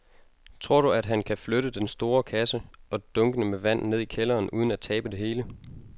Tror du, at han kan flytte den store kasse og dunkene med vand ned i kælderen uden at tabe det hele?